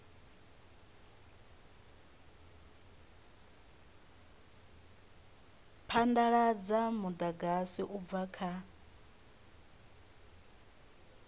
phadaladza mudagasi u bva kha